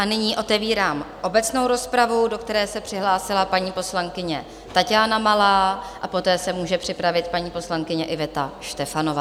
A nyní otevírám obecnou rozpravu, do které se přihlásila paní poslankyně Taťána Malá, a poté se může připravit paní poslankyně Iveta Štefanová.